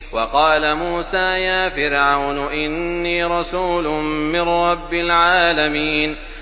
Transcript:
وَقَالَ مُوسَىٰ يَا فِرْعَوْنُ إِنِّي رَسُولٌ مِّن رَّبِّ الْعَالَمِينَ